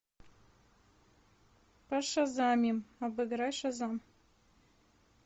пошазамим обыграй шазам